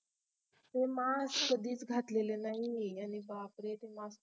हे mask कधीच घातलेल नाही आणि बापरे ते MASK